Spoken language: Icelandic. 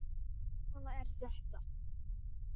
Já, svona er þetta.